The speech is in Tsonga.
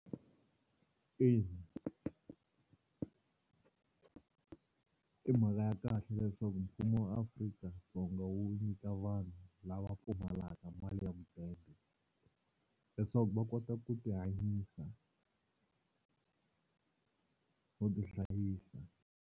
Ina i mhaka ya kahle leswaku mfumo wa Afrika-Dzonga wu nyika vanhu lava pfumalaka mali ya mudende leswaku va kota ku tihanyisa no tihlayisa.